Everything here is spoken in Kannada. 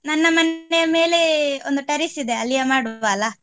ನನ್ನ ಮನೆಯ ಮೇಲೆ ಒಂದು terrace ಇದೆ ಅಲ್ಲಿಯೇ ಮಾಡುವ ಅಲ್ಲ.